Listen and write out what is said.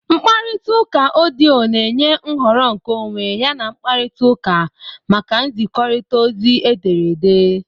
Mkparita uka odiyo na-enye nhọrọ nkeonwe yana mkparịta ụka maka nzikọrịta ozi ederede.